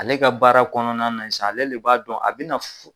Ale ka baara kɔnɔna na sisan ale de b'a dɔn a bɛ na fo